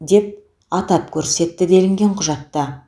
деп атап көрсетті делінген құжатта